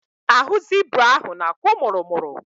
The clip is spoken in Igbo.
Ahụ zibra ahụ na-akwụ mụrụmụrụ..